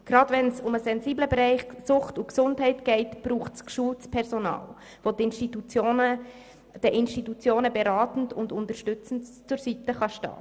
Gerade wenn es um den sensiblen Bereich Sucht und Gesundheit geht, braucht es geschultes Personal, welches den Institutionen beratend und unterstützend zur Seite steht.